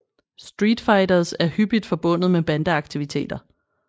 Street fighters er hyppigt forbundet med bande aktiviteter